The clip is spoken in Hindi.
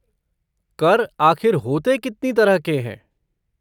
कर आख़िर होते कितने तरह हैं?